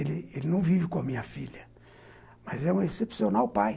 Ele ele ele não vive com a minha filha, mas é um excepcional pai.